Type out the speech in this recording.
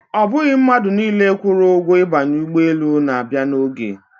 Ọ bụghị mmadụ niile kwụrụ ụgwọ ibanye ụgbọelu na-abịa n'oge.